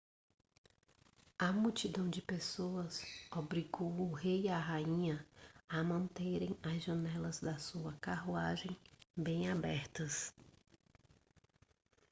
a multidão de pessoas obrigou o rei e a rainha a manterem as janelas da sua carruagem bem abertas